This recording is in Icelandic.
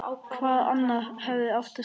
Hver annar hefði átt að skrifa það?